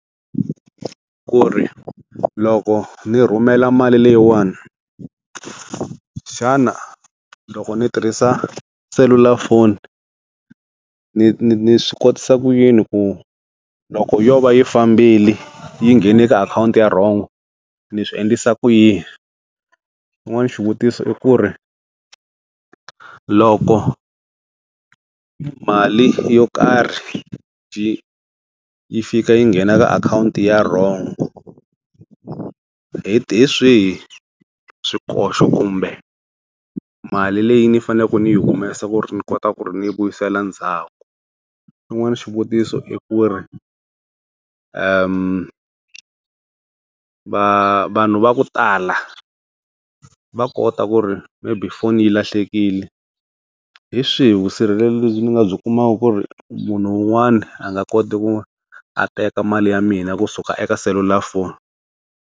Ku ri loko ndzi rhumela mali leyiwani, xana loko ni tirhisa selulafoni ni swi kotisa ku yini ku loko yo va yi fambile yi nghenile ka akhawunti ya wrong ndzi swi endlisa ku yini, xin'wana xivutiso i ku ri loko mali yo karhi yi yi fika yi nghena ka akhawunti ya wrong hi swihi swikoxo kumbe mali leyi ni fanele ni yi humesa ku ri ndzi kota ku ri ni yi vuyisela ndzhaku, swin'wana xivutiso i ku ri, va vanhu va ku tala va kota ku ri maybe foni yi lahlekile hi byihi vusirheleri lebyi ni nga byi kumaka ku ri munhu un'wana a nga koti ku a teka mali ya mina kusuka eka selulafoni.